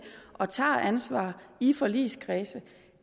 og tager et ansvar i forligskredse